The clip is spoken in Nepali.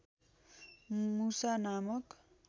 मुसा नामक